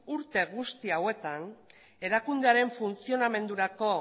urte guzti hauetan erakundearen funtzionamendurako